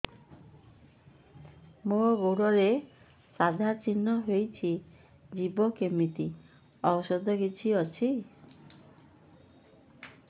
ମୋ ଗୁଡ଼ରେ ସାଧା ଚିହ୍ନ ହେଇଚି ଯିବ କେମିତି ଔଷଧ କିଛି ଅଛି